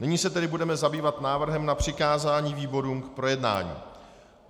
Nyní se tedy budeme zabývat návrhem na přikázání výborům k projednání.